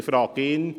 Ich frage ihn: